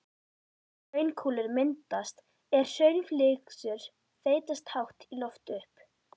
Hraunkúlur myndast er hraunflygsur þeytast hátt í loft upp.